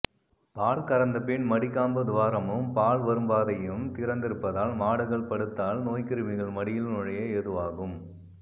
பால் கறந்த பின் மடிக்காம்பு துவாரமம் பால் வரும்பாதையும் திறந்திருப்பதால் மாடுகள் படுத்தால் நோய்கிருமிகள் மடியில் நுழைய ஏதுவாகும்